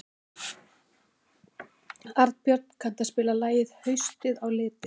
Arnbjörn, kanntu að spila lagið „Haustið á liti“?